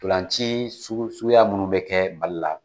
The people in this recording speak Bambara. Ntolan ci sugu suguya munnu be kɛ Mali la